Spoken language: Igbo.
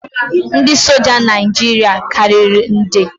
Ndị soja Naijiria karịrị nde